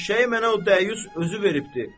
Eşşəyi mənə o dəyyus özü veribdir.